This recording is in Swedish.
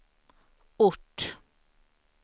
ort